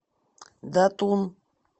датун